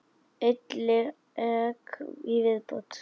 Einn leik í viðbót.